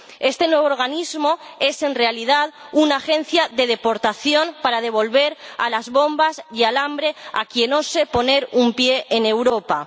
Este nuevo organismo es en realidad una agencia de deportación para devolver a las bombas y al alambre a quien ose poner un pie en Europa.